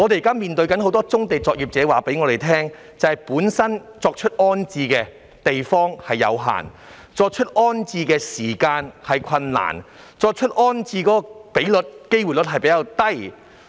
有很多棕地作業者告訴我們，重置地方有限，重置時間有困難，而成功重置的比率或機會率亦較低。